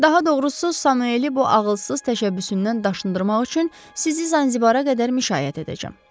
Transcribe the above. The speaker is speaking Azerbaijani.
Daha doğrusu, Samueli bu ağılsız təşəbbüsündən daşındırmaq üçün sizi Zanzibar-a qədər müşayiət edəcəm.